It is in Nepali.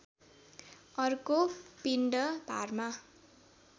अर्को पिण्ड भारमा